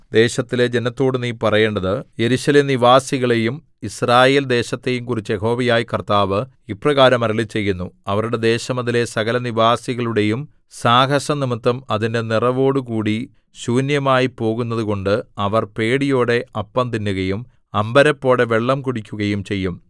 ദേശത്തിലെ ജനത്തോട് നീ പറയേണ്ടത് യെരൂശലേം നിവാസികളെയും യിസ്രായേൽ ദേശത്തെയും കുറിച്ച് യഹോവയായ കർത്താവ് ഇപ്രകാരം അരുളിച്ചെയ്യുന്നു അവരുടെ ദേശം അതിലെ സകലനിവാസികളുടെയും സാഹസംനിമിത്തം അതിന്റെ നിറവോടുകൂടി ശൂന്യമായിപ്പോകുന്നതുകൊണ്ട് അവർ പേടിയോടെ അപ്പം തിന്നുകയും അമ്പരപ്പോടെ വെള്ളം കുടിക്കുകയും ചെയ്യും